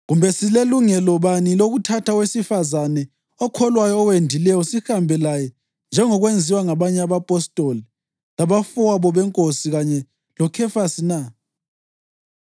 Kambe silelungelo bani lokuthatha owesifazane okholwayo owendileyo sihambe laye njengokwenziwa ngabanye abapostoli labafowabo beNkosi kanye loKhefasi na?